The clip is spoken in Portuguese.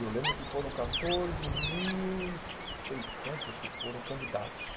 E eu lembro que foram catorze mil e seissentos, acho que foram, candidatos.